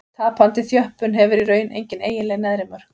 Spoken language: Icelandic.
Tapandi þjöppun hefur í raun engin eiginleg neðri mörk.